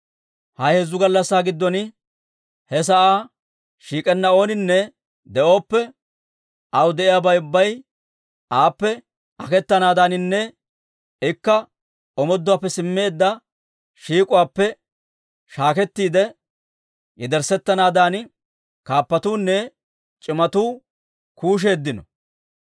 Ha heezzu gallassaa giddon he sa'aa shiik'enna ooninne de'oppe, aw de'iyaabay ubbay aappe aketanaadaaninne ikka omooduwaappe simmeedda shiik'uwaappe shaakettiide yederssettanaadan kaappatuunne c'imatuu kuusheeddino.